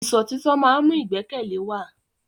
Ìṣọ̀títọ́ má ń mú ìgbẹ́kẹ̀lé wa.